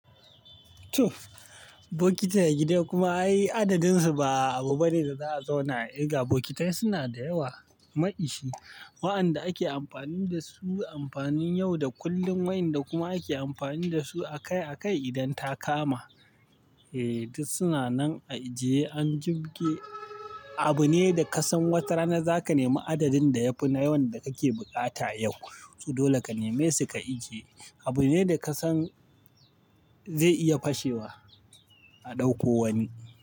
Tuf, bokitai na gida kuma ayi adadin su ba abu bane da za a zauna a yi ga bokitai suna da yawa mai ishi. Wa'anda ake amfani dasu amfanin yau da kullum wayanda kuma ake amfani dasu akai-akai idan ta kama. Eh, duk suna nan a ajiye an jibge. Abu ne da ka san wata rana zaka nemi adadin da ya fi na yawan da kake bukata yau. To dole ka neme su ka ajiye. Abu ne da ka san zai iya fashewa a ɗauko wani.